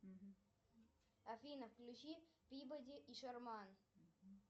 афина включи пибоди и шерман